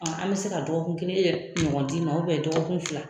An bɛ se ka dɔgɔkun kelen ɲɔgɔn d'i ma walima dɔgɔkun fila.